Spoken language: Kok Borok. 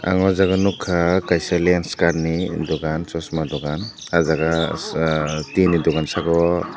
ang o jaga nukha kaisa lenskart ni dukan chosma dukan ah jaga tin ni dukan saka o.